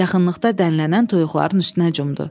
Yaxınlıqda dənlənən toyuqların üstünə cumdu.